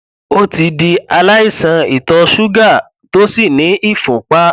ó ti di aláìsàn ìtọ ṣúgà tó sì ní ìfúnpá